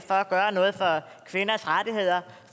at gøre noget for kvinders rettigheder